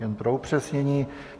Jen pro upřesnění.